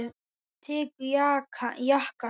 Hann tekur jakkann upp.